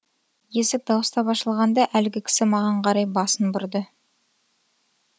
есік дауыстап ашылғанда әлгі кісі маған қарай басын бұрды